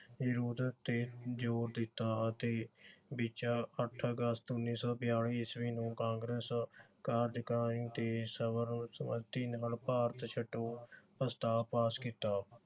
ਯੋਜਕ ਤੇ ਜੋਰ ਦਿੱਤਾ ਅਤੇ ਵਿਚ ਅੱਠ ਅਗਸਤ ਉਨੀ ਸੌ ਬਿਆਲੀ ਈਸਵੀ ਨੂੰ ਕਾਂਗਰਸ ਕਾਰਜਕਾਰੀ ਤੇ ਸਰਵ ਸੰਮਤੀ ਨਾਲ ਭਾਰਤ ਛੱਡੋ ਪ੍ਰਸਤਾਵ ਪਾਸ ਕੀਤਾ